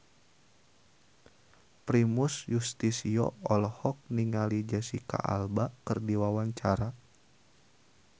Primus Yustisio olohok ningali Jesicca Alba keur diwawancara